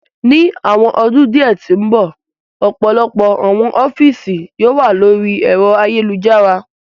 Ni awọn ọdun diẹ ti n bọ, ọpọlọpọ awọn ọfiisi yoo wa lori ẹ̀ro ayelujara